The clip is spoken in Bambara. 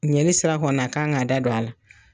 Ɲɛli sira kɔni na a kan k'a da don a la.